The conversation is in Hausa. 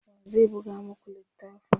wa zai buga maku littafin?